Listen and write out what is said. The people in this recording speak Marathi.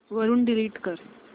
वरून डिलीट कर